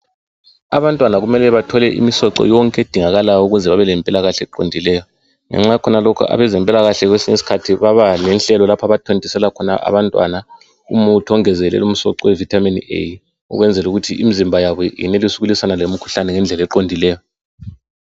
Abantwana badinga imisoco yonke ukwenzela ukuthi bebelempilakahle eqondileyo ngenxa yakhona lokhu abezempilakahle kwesinye isikhathi babalohlelo lapha abathontisela khona abantwana umuthi ongezelela umsoco weVitamin A ukwenzela ukuthi imizimba yabo iyenelise ukulwisana lemkhuhlane ngendlela eqondileyo